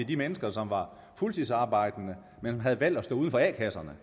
de mennesker som var fuldtidsarbejdende men havde valgt at stå uden for a kasserne